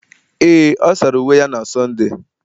Ee, ọ sara uwe ya na Sọnde